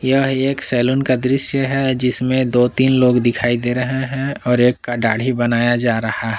यह एक सैलून का दृश्य है जिसमें दो तीन लोग दिखाई दे रहे हैं और एक का दाड़ी बनाया जा रहा है।